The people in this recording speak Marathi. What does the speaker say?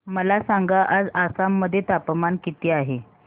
मला सांगा आज आसाम मध्ये तापमान किती आहे